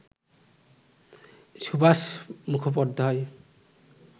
Subhash Mukhopadhyay